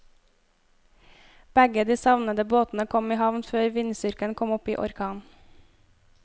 Begge de savnede båtene kom i havn før vindstyrken kom opp i orkan.